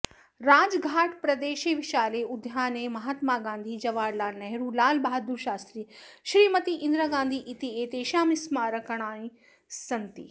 राजघाट् प्रदेशे विशाले उद्याने महात्मा गान्धिः जवाहरलालनेहरुः लालबहादुरशास्त्री श्रीमती इन्दिरागान्धिः इत्येतेषां स्मारकाणि सन्ति